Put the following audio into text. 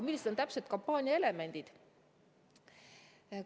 Millised täpselt on kampaania elemendid?